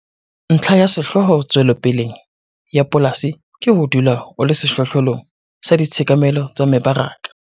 Ntlha ya sehlooho tswelopeleng ya polasi ke ho dula o le sehlohlolong sa ditshekamelo tsa mebaraka.